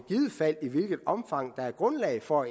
hvilket omfang der er grundlag for